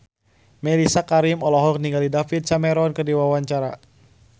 Mellisa Karim olohok ningali David Cameron keur diwawancara